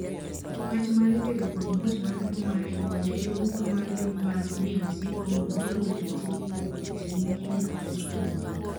wach mar kedo kod muoch mar tuo mar Ebola e yo ugwe mar piny mar DRC Congo biro bet achiel kuom weche ma ibiro los kuomgi.